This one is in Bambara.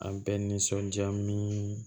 A bɛ nisɔndiya min